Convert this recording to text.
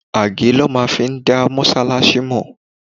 Age lọ fi máa ń dá Mọ́sálásí mọ.